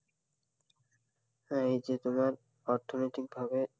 হ্যাঁ, এই যে তোমার অর্থনৈতিক ভাবে